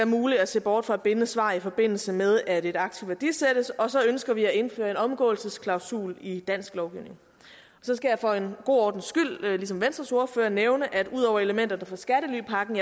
muligt at se bort fra et bindende svar i forbindelse med at et aktiv værdisættes og så ønsker vi at indføre en omgåelsesklausul i dansk lovgivning så skal jeg for god ordens skyld ligesom venstres ordfører nævne at ud over elementerne fra skattelypakken